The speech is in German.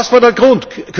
Was war der Grund?